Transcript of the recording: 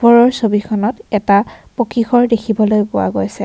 ওপৰৰ ছবিখনত এটা পকী ঘৰ দেখিবলৈ পোৱা গৈছে।